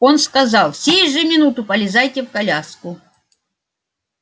он сказал сей же минуту полезайте в коляску